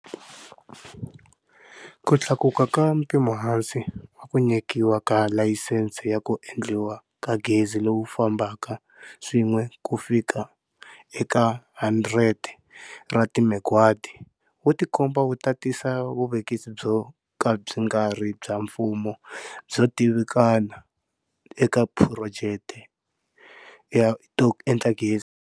Ku tlakuka ka mpimohansi wa ku nyikiwa ka layisense ya ku endliwa ka gezi lowu fambaka swin'we ku fika eka 100 ra timegawati wu tikomba wu ta tisa vuvekisi byo ka byi nga ri bya mfumo byo tivikana eka tiphurojeke to endla gezi.